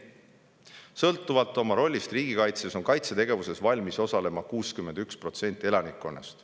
Sõltuvalt oma rollist riigikaitses on kaitsetegevuses valmis osalema 61% elanikkonnast.